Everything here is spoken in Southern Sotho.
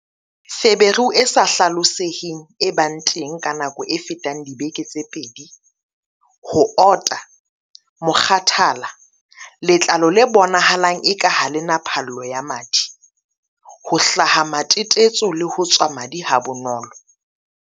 U - Feberu e sa hla loseheng e bang teng ka nako e fetang dibeke tse pedi, ho ota, mokgathala, letlalo le bonahalang eka ha le na phallo ya madi, ho hlaha matetetso le ho tswa madi ha bonolo.